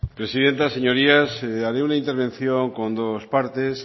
presidenta señorías haré una intervención con dos partes